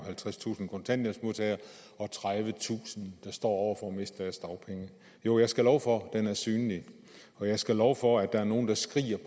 halvtredstusind kontanthjælpsmodtagere og tredivetusind der står over for at miste deres dagpenge jo jeg skal love for at den er synlig og jeg skal love for at der er nogle der skriger